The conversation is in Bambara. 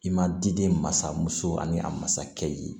I ma di den masamuso ani a masakɛ i ye